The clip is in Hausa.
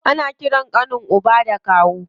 Ana ƙiran ƙanin uba da kawu.